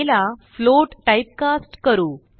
आ ला float typecast करू